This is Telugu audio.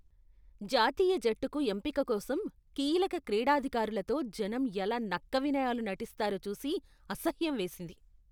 జాతీయ జట్టుకు ఎంపిక కోసం కీలక క్రీడాధికారులతో జనం ఎలా నక్క వినయాలు నటిస్తారో చూసి అసహ్యం వేసింది.